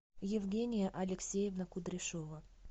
евгения алексеевна кудряшова